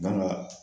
Gan ga